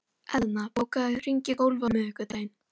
Eðna, bókaðu hring í golf á miðvikudaginn.